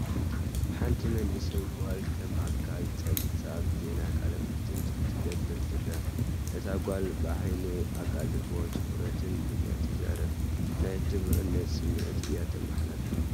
ሓንቲ መንእሰይ ጓል ከም ኣካል ጸብጻብ ዜና ቃለ መሕትት ክትገብር ትረአ። እታ ጓል ብዓቢይ ኣቓልቦን ትኹረትን እያ እትዛረብ፣ ናይ ዕቱብነትን ስምዒት እያ እተመሓላልፍ።